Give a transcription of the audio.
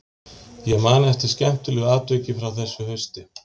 Ég man eftir skemmtilegu atviki frá þessu hausti.